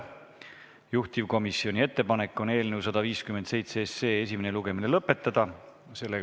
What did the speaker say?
Juhtivkomisjoni ettepanek on eelnõu 157 esimene lugemine lõpetada.